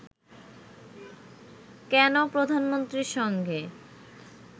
কেন প্রধানমন্ত্রীর সঙ্গে